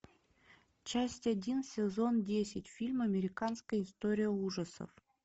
часть один сезон десять фильм американская история ужасов